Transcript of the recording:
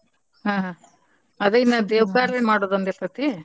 ಹಾ ಅದ ಇನ್ನ ದೇವಕಾರ್ಯ ಮಾಡೋದೊಂದಿರ್ತೇತಿ.